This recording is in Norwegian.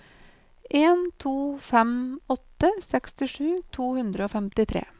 en to fem åtte sekstisju to hundre og femtitre